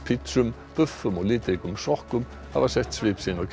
og litríkum sokkum hafa sett svip sinn á kjörtímabilið